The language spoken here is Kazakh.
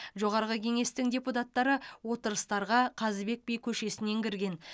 жоғарғы кеңестің депутаттары отырыстарға қазыбек би көшесінен кірген